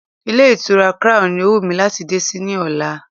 Ilé ìtura crown ni ó wù mí láti dé sí ní ọ̀la.